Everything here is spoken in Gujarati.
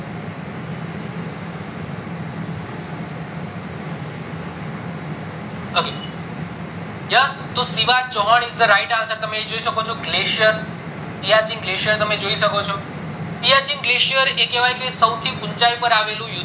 તો Shiva Chauhan is the right answer તમે જોઈ શકો છો glacier શિયાચીન glacier તમે જોઈ શકો છો શિયાચીન glacier એ કહેવાય સૌથી ઉચાય ઉપર આવેલું યુદ્ધ